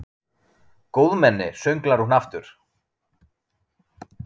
Góðmenni, sönglar hún aftur.